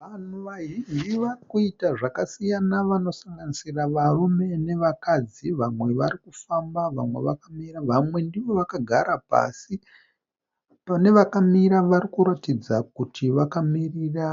Vanhu vazhinji varikuita zvakasiyana vanosanganisira varume nevakadzi vamwe varikufamba vamwe vakamira vamwe ndivo vakagara pasi. Pane vakamira varikuratidza kuti vakamirira